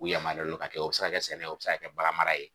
U yamaruyalen don k'a kɛ o bɛ se ka kɛ sɛnɛ o bɛ se ka kɛ bagan mara ye